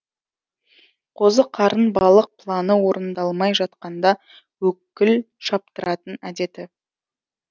қозы қарын балық планы орындалмай жатқанда өкіл шаптыратын әдеті